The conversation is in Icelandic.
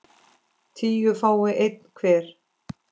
tíu fái einn hver